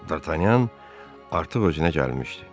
D'Artagnan artıq özünə gəlmişdi.